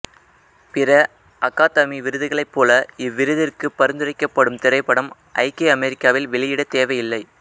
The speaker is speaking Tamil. பிற அகாதமி விருதுகளைப் போல இவ்விருதிற்கு பரிந்துரைக்கப்படும் திரைப்படம் ஐக்கிய அமெரிக்காவில் வெளியிடத் தேவையில்லை